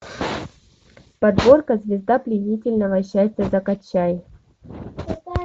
подборка звезда пленительного счастья закачай